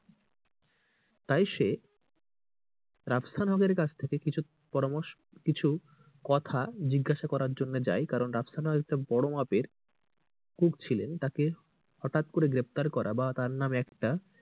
তাই সে রাফসান হকের কাছ থেকে কিছু পরামর্শ কিছু কথা জিজ্ঞাসার জন্য যায় রাফসানও একজন বড়ো মাপের cook ছিলেন তাকে হটাৎ করে গ্রেফতার করা বা তার নামে একটা,